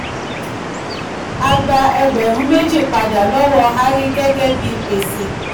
a gba ẹgbẹ̀rún méjì pada lọ́wọ́ hari gẹ́gẹ́ bí gbèsè.